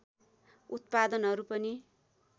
उत्पादनहरू पनि